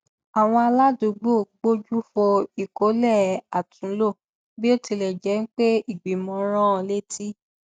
àwọn aládùúgbò gbójú fo ìkólẹ àtúnlò bí ó tilẹ jẹ pé ìgbìmọ rán létí